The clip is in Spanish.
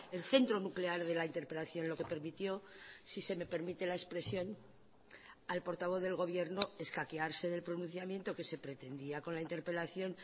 el centro nuclear de la interpelación lo que permitió si se me permite la expresión al portavoz del gobierno escaquearse del pronunciamiento que se pretendía con la interpelación